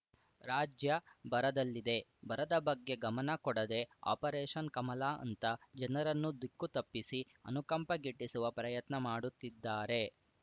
ರಾಜ್ಯ ಬರದಲ್ಲಿದೆ ಬರದ ಬಗ್ಗೆ ಗಮನ ಕೊಡದೆ ಆಪರೇಷನ್‌ ಕಮಲ ಅಂತ ಜನರನ್ನು ದಿಕ್ಕು ತಪ್ಪಿಸಿ ಅನುಕಂಪ ಗಿಟ್ಟಿಸುವ ಪ್ರಯತ್ನ ಮಾಡುತ್ತಿದ್ದಾರೆ